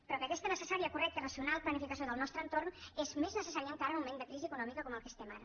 però que aquesta necessària correcta i racional planificació del nostre entorn és més necessària encara en un moment de crisi econòmica com en el que estem ara